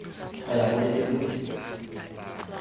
go ya go lebelo le